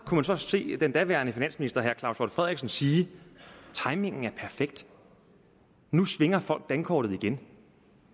man så se den daværende finansminister claus hjort frederiksen sige timingen er perfekt nu svinger folk dankortet igen